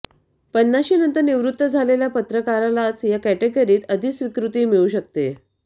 पन्नाशी नंतर निवृत्त झालेल्या पत्रकारालाच या कॅटागिरीत अधिस्वीकृती मिळू शकते